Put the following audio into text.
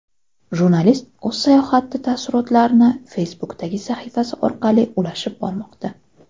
Jurnalist o‘z sayohati taassurotlarini Facebook’dagi sahifasi orqali ulashib bormoqda.